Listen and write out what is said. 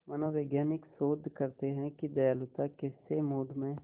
मनोवैज्ञानिक शोध करते हैं कि दयालुता कैसे मूड में